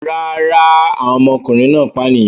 Rárá, àwọn ọmọkùnrin náà pànìyàn.